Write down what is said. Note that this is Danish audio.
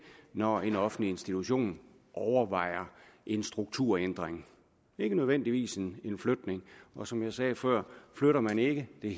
når en offentlig institution overvejer en strukturændring ikke nødvendigvis en flygtning og som jeg sagde før flytter man ikke er